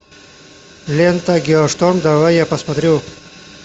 лента геошторм давай я посмотрю